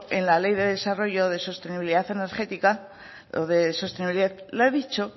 en la ley de desarrollo de sostenibilidad energética o de sostenibilidad le ha dicho